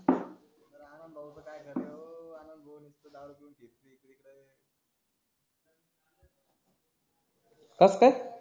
कस काय